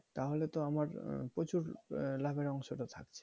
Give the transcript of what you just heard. তাহলে তো আমার প্রচুর লাভের অংশ টা থাকছে।